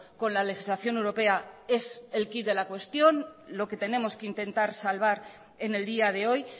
con la legislación europea es el quid de la cuestión lo que tenemos que intentar salvar en el día de hoy